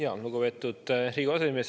Tänan, lugupeetud Riigikogu aseesimees!